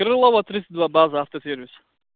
крылова тридцать два база автосервис